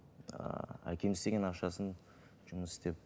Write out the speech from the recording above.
ііі әкем істеген ақшасын жұмыс ісеп